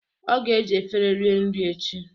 Ọ ga eji efere rie nri echi